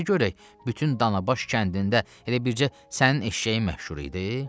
Niyə görək bütün Danabaş kəndində elə bircə sənin eşşəyin məşhur idi?